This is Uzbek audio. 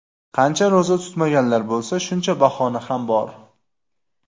Qancha ro‘za tutmaganlar bo‘lsa, shuncha bahona ham bor.